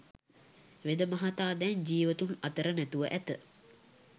වෙද මහතා දැන් ජීවතුන් අතර නැතුව ඇත.